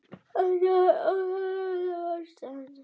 Þetta er óþolandi ástand!